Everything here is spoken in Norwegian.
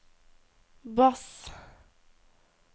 bass